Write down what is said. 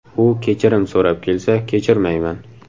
U kechirim so‘rab kelsa, kechirmayman.